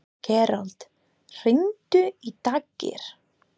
Gerald, hringdu í Daggeir.